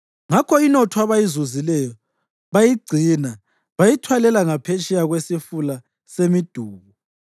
Ngakho inotho abayizuzileyo bayigcina, bayithwalela ngaphetsheya kweSifula semiDubu.